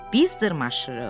Biz dırmaşırıq.